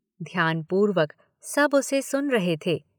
ध्यानपूर्वक सब उसे सुन रहे थे